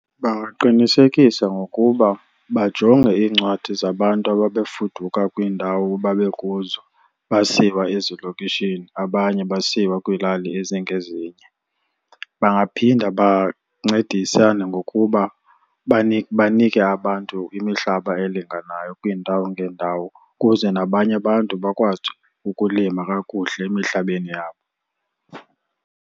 Bangaqinisekisa ngokuba bajonge iincwadi zabantu ababefuduka kwiindawo babekuzo basiwa ezilokishini abanye basiwa kwiilali ezingezinye. Bangaphinda bancedisane ngokuba banike abantu imihlaba elinganayo kwiindawo ngeendawo ukuze nabanye abantu bakwazi ukulima kakuhle emihlabeni yabo.